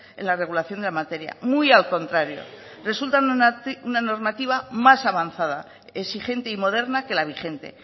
en la regulación de la materia muy al contrario resultan una normativa más avanzada exigente y moderna que la vigente